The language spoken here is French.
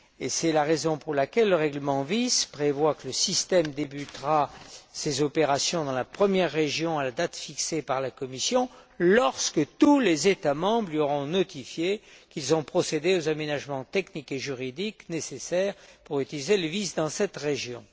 C'est la raison pour laquelle le règlement VIS prévoit que le système débutera ses opérations dans la première région à la date fixée par la Commission lorsque tous les États membres lui auront notifié qu'ils ont procédé aux aménagements techniques et juridiques nécessaires pour utiliser le VIS dans cette région.